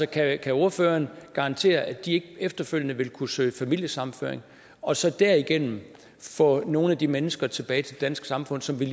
kan ordføreren garantere at de ikke efterfølgende vil kunne søge familiesammenføring og så derigennem få nogle af de mennesker tilbage til det danske samfund som vi